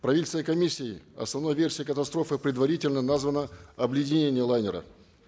правительственной комиссией основной версией катастрофы предварительно названо обледенение лайнера